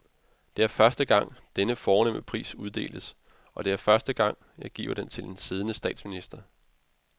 Det er første gang, denne fornemme pris uddeles, og det er første gang, jeg giver den til en siddende statsminister.